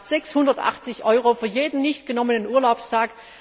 Das macht 680 EUR für jeden nicht genommenen Urlaubstag.